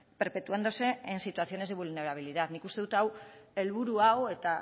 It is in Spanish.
perpetuándose en situaciones de vulnerabilidad nik uste dut hau helburu hau eta